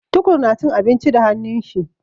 Tukur na cin abinci da hannun shi.